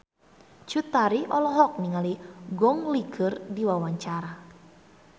Cut Tari olohok ningali Gong Li keur diwawancara